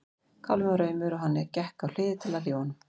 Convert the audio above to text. Kálfinn var aumur og hann gekk á hlið til að hlífa honum.